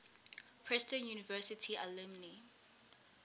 princeton university alumni